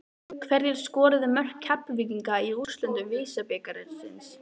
Hverjir skoruðu mörk Keflvíkinga í úrslitum VISA-bikarsins?